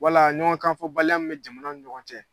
Wala ɲɔgɔn kan fɔbali mi bɛ jamanaw ni ɲɔgɔn cɛ.